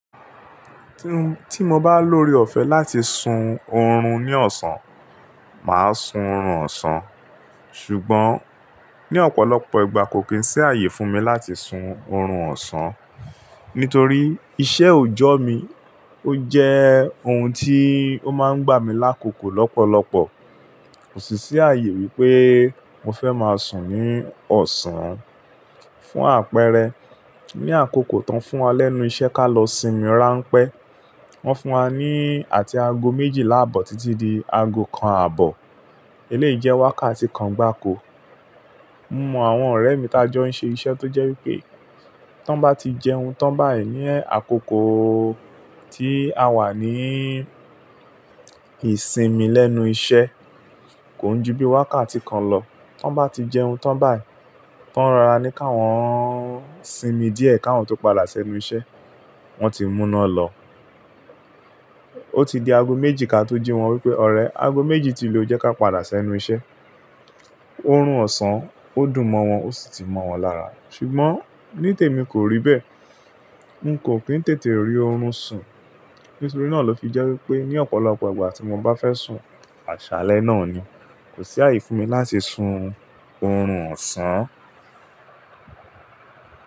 Tí mo bá lóore ọ̀fẹ́ láti sun oorun ní ọ̀sán, màá sun oorun ọ̀sán. Ṣùgbọ́n ní ọ̀pọ̀lọpọ̀ ìgbà kò kí ń sí ààyè fún mi láti sun oorun ọ̀sán. Nítorí iṣẹ́ òojọ mí, ó jẹ́ ohun tí ó máa ń gbà mí lákòókò lọ́pọ̀lọpọ̀. Kò sì sí ààyè wípé mo fẹ́ máa sùn ní ọ̀sán. Fún àpẹẹrẹ, ní àkókò tó ń fún wa lẹ́nu iṣẹ́ ká lọ sinmi rán pẹ́. Wọ́n fún wa ní àti aago méjìlá àbọ̀ títí di aago kan àbọ̀. Eléyìí jẹ́ wákàtí kan gbáko. Mo mọ àwọn ọ̀rẹ́ mi tajọ́ ń ṣe iṣẹ́ tó jẹ́ wípé tan bá ti jẹun tán báyìí ní àkókò tí a wà ní ìsinmi lẹ́nu iṣẹ́, kò ń ju bí wákàtí kan lọ. Tó bá ti jẹun tán báyìí, tó ń rora ní káwọn sinmi díẹ̀ káwọn tó padà sí ẹnu iṣẹ́. Wọ́n ti mú iná lọ. Ó ti di aago méjì ká tó jí wọn wípé ọ̀rẹ́ aago méjì ti lu o, jẹ́ ká padà sí ẹnu iṣẹ́. Oorun ọ̀sán ó dùn mọ́ wọn ó sì ti mọ́ wọn lára. Ṣùgbọ́n ní tèmi kò rí bẹ́ẹ̀. N kò kín tètè rí oorun sùn. Nítorí náà ló fi jẹ́ wípé ní ọ̀pọ̀lọpọ̀ ìgbà tí mo bá fẹ́ sùn, àṣálẹ́ náà ni. Kò sí ààyè fún mi láti sun oorun ọ̀sán.